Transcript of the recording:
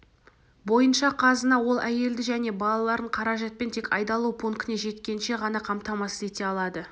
бойынша қазына ол әйелді және балаларын қаражатпен тек айдалу пунктіне жеткенше ғана қамтамасыз ете алады